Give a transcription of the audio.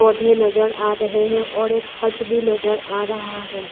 पौधे नजर आ रहे हैं और एक हट भी नजर आ रहा है।